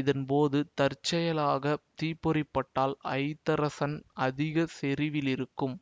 இதன் போது தற்செயலாக தீப்பொறி பட்டால் ஐதரசன் அதிக செறிவிலிருக்கும்